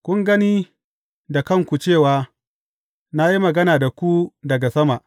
Kun gani da kanku cewa na yi magana da ku daga sama.